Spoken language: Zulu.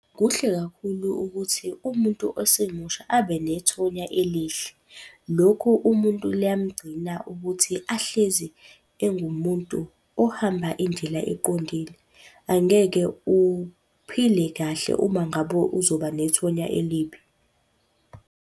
Kuhle kakhulu ukuthi umuntu osemusha abenethonya elihle. Lokhu umuntu liyamgcina ukuthi ahlezi engumuntu ohamba indlela eqondile. Angeke uphile kahle uma ngabe uzoba nethonya elibi.